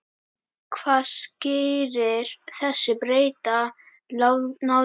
Hvað skýrir þessa breytta nálgun?